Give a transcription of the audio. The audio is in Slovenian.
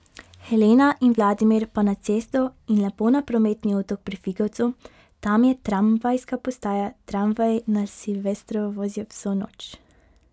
Helena in Vladimir pa na cesto in lepo na prometni otok pri Figovcu, tam je tramvajska postaja, tramvaji na Silvestrovo vozijo vso noč.